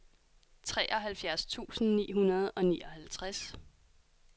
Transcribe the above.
treoghalvfjerds tusind ni hundrede og nioghalvtreds